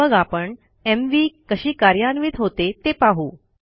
मग आपण एमव्ही कशी कार्यन्वित होते ते पाहू